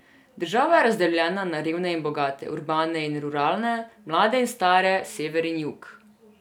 Država je razdeljena na revne in bogate, urbane in ruralne, mlade in stare, sever in jug.